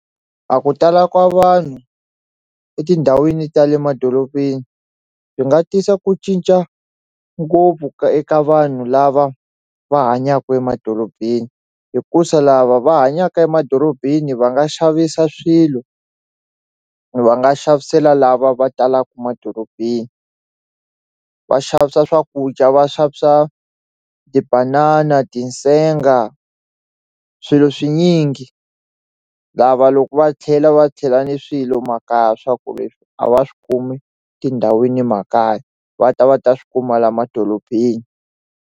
A ku tala ka vanhu etindhawini ta le madoropeni byi nga tisa ku cinca ngopfu ka eka vanhu lava va hanyaku emadorobeni hikusa lava va hanyaka emadorobeni va nga xavisa swilo va nga xavisela lava va talaku madorobeni va xavisa swakudya va xavisa tibanana, tinsenga swilo swinyingi lava loko va tlhela va tlhela ni swilo makaya swa ku leswi a va swi kumi tindhawini makaya va ta va ta swi kuma la madorobeni.